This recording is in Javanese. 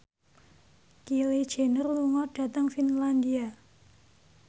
Kylie Jenner lunga dhateng Finlandia